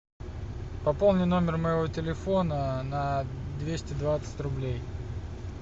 пополни номер моего телефона на двести двадцать рублей